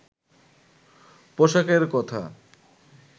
পোশাকের কথা